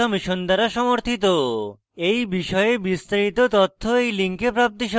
এই বিষয়ে বিস্তারিত তথ্য এই লিঙ্কে প্রাপ্তিসাধ্য